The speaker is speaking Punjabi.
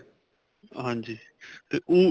ਹਾਂਜੀ ਤੇ ਉਹ